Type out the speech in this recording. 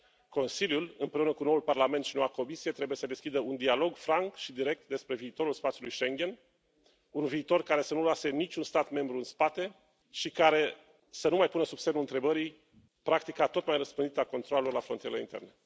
Consiliul, împreună cu noul Parlament și noua Comisie, trebuie să deschidă un dialog franc și direct despre viitorul spațiului Schengen, un viitor care să nu lase niciun stat membru în spate și care să nu mai pună sub semnul întrebării practica tot mai răspândită a controalelor la frontierele interne.